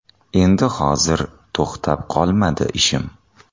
Endi hozir to‘xtab qolmadi ishim”.